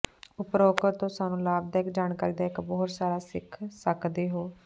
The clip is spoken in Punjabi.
ਉਪਰੋਕਤ ਤੋ ਸਾਨੂੰ ਲਾਭਦਾਇਕ ਜਾਣਕਾਰੀ ਦਾ ਇੱਕ ਬਹੁਤ ਸਾਰਾ ਸਿੱਖ ਸਕਦੇ ਹੋ